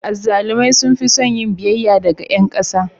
Azzalumai sun fi son yin biyayya daga ƴan ƙasa.